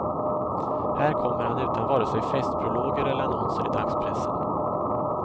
Här kommer han utan vare sig festprologer eller annonser i dagspressen.